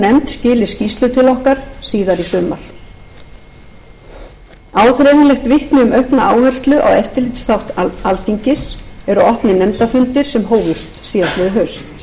skili skýrslu til okkar síðar í sumar áþreifanlegt vitni um aukna áherslu á eftirlitsþátt þingsins eru opnir nefndafundir sem hófust í haust ég hef mikinn áhuga á því að efla þennan þátt